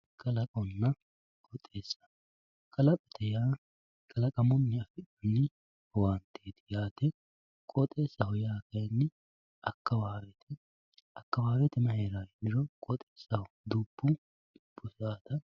kalaqonna qooxeessa kalaqote yaa kalaqamunni afi'nanni owaanteeti yaate qooxeessaho yaa kayni akkawaawete akkawaawete may heeranno yiniro dubbu heerawoota.